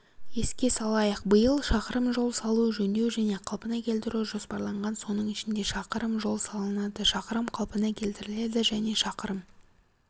еске салайық биыл шақырым жол салу жөндеу және қалпына келтіру жоспарланған соның ішінде шақырым жол салынады шақырым қалпына келтіріледі және шақырым